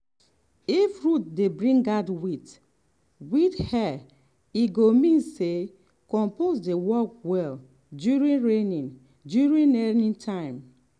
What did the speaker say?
if root dey bring out white-white hair e mean say compost dey work well during rainy during rainy time.